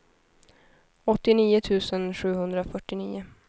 åttionio tusen sjuhundrafyrtionio